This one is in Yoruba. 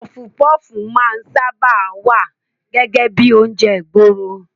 Pọfupọ́fù máa ń sáábà wá gẹ́gẹ́ bíi oúnjẹ ìgboro.